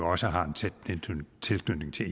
også har en tæt tilknytning til